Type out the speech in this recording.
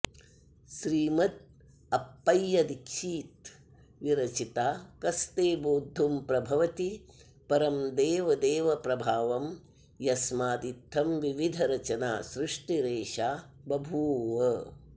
श्रीमदप्पय्य दीक्षित विरचिता कस्ते बोद्धुं प्रभवति परं देवदेव प्रभावं यस्मादित्थं विविधरचना सृष्टिरेषा बभूव